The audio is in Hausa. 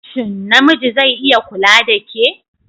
Shin namiji zai iya kula da ke?